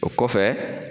O kɔfɛ